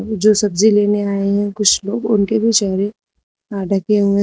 जो सब्जी लेने आए हैं कुछ लोग उनके भी चेहरे अ ढके हुए।